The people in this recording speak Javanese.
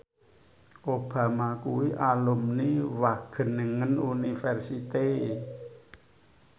Obama kuwi alumni Wageningen University